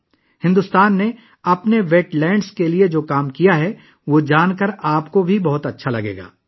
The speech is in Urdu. آپ کو یہ جان کر بھی بہت خوشی ہوگی کہ بھارت نے اپنی آبی زمینوں کے لیے کیا کیا ہے